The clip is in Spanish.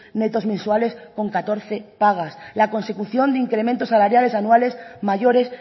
netos mensuales con catorce pagas la consecución de incrementos salariales anuales mayores